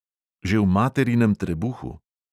Že v materinem trebuhu.